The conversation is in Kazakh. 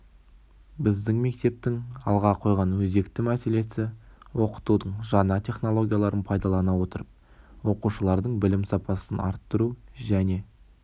біздің мектептің алға қойған өзекті мәселесі оқытудың жаңа технологияларын пайдалана отырып оқушылардың білім сапасын арттыру және